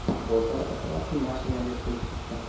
Bozor atrofi mashinaga to‘lib ketgan.